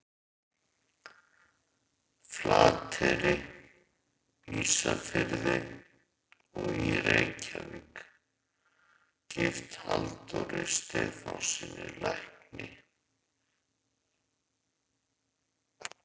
Flateyri, Ísafirði og í Reykjavík, gift Halldóri Stefánssyni lækni.